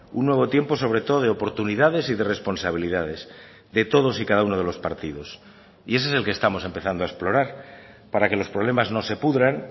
un nuevo tiempo sobre todo de oportunidades y de responsabilidades de todos y cada uno de los partidos y ese es el que estamos empezando a explorar para que los problemas no se pudran